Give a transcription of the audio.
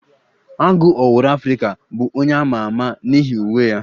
Agụ owuru Afrika bụ onye ama ama n'ihi uwe ya.